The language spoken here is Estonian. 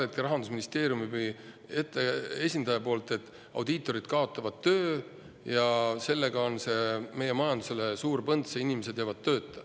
Ütleme, Rahandusministeeriumi esindaja kartis hirmsasti, et audiitorid kaotavad töö, see paneb meie majandusele suure põntsu ja inimesed jäävad tööta.